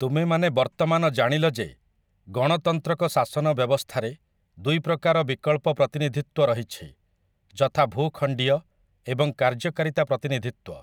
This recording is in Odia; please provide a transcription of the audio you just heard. ତୁମେମାନେ ବର୍ତ୍ତମାନ ଜାଣିଲ ଯେ, ଗଣତନ୍ତ୍ରକ ଶାସନ ବ୍ୟବସ୍ଥାରେ ଦୁଇ ପ୍ରକାର ବିକଳ୍ପ ପ୍ରତିନିଧିତ୍ୱ ରହିଛି ଯଥା ଭୂଖଣ୍ଡୀୟ ଏବଂ କାର୍ଯ୍ୟକାରୀତା ପ୍ରତିନିଧିତ୍ୱ ।